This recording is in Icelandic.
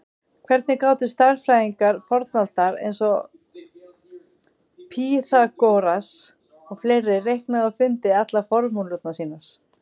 Hvernig gátu stærðfræðingar fornaldar eins og Pýþagóras og fleiri reiknað og fundið allar formúlurnar sínar?